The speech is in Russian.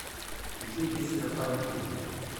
включи песня файнд ю